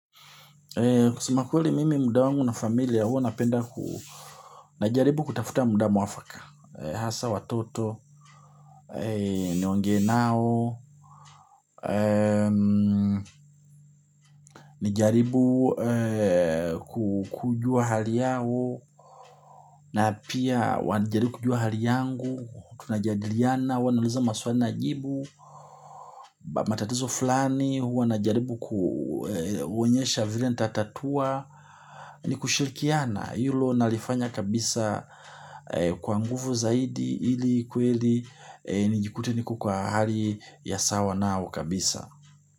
Kusema kweli mimi muda wangu na familia hua napenda na jaribu kutafuta muda mwafaka. Hasa watoto, niongee nao, nijaribu kujua hali yao na pia wajaribu kujua hali yangu, tunajadiriana, wanauliza maswani najibu. Matatizo fulani hua na jaribu kuwaonyesha vile nitatatua. Ni kushirikiana hilo nalifanya kabisa kwa nguvu zaidi ili kweli nijikute niko kwa hali ya sawa nao kabisa.